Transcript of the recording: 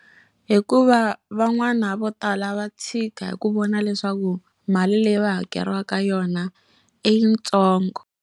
Hikuva van'wana vo tala va tshika hi ku vona leswaku mali leyi va hakeriwaka yona i yitsongo.